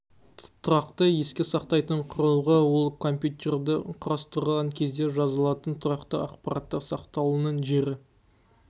тұрақты еске сақтайтын құрылғы ол компьютерді құрастырған кезде жазылатын тұрақты ақпараттар сақталуының жері